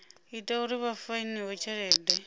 ita uri vha fainiwe tshelede